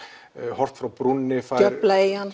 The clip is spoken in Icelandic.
horft frá brúnni djöflaeyjan